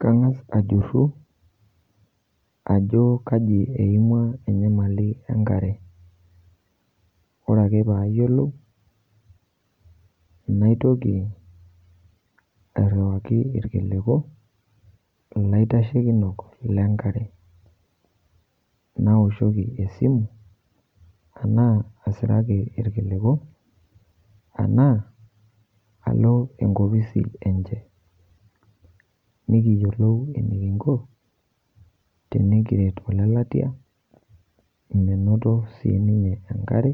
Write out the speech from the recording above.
Kang'as ajuru, ajo kaji eimua enyamali enkare, ore ake pee ayiolou, naitoki airiwaki ilkiliku, ilaitashekinok lenkare, naoshoki esimu, anaa asiraki ilkiliku, anaa alo enkoppisi enche. Nekiyiolou enekingo, tenekiret olelatia, meinoto sii sininye enkare,